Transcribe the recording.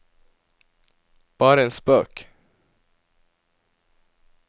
bare en spøk